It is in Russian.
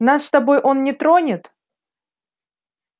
нас с тобой он не тронет